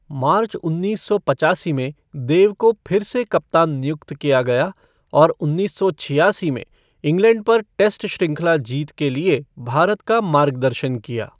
मार्च उन्नीस सौ पचासी में देव को फिर से कप्तान नियुक्त किया गया और उन्नीस सौ छियासी में इंग्लैंड पर टेस्ट श्रृंखला जीत के लिए भारत का मार्गदर्शन किया।